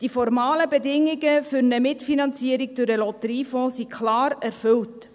Die formalen Bedingungen für eine Mitfinanzierung durch den Lotteriefonds sind klar erfüllt.